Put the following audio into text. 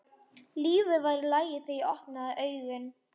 Lífið var í lagi þegar ég opnaði augun.